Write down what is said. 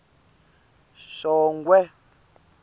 shongwe